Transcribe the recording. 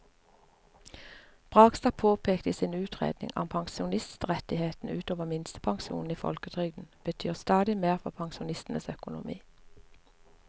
Bragstad påpeker i sin utredning at pensjonsrettighetene ut over minstepensjonen i folketrygden betyr stadig mer for pensjonistenes økonomi.